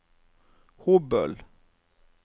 Hobøl